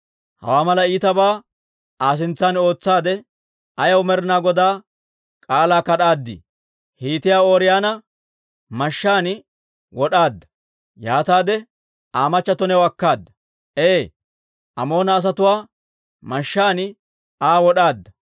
Hawaa mala iitabaa Aa sintsan ootsaadde, ayaw Med'inaa Godaa k'aalaa kad'aadii? Hiitiyaa Ooriyoona mashshaan wod'aadda; yaataade Aa machchato new akkaadda. Ee, Amoona asatuwaa mashshaan Aa wod'aadda.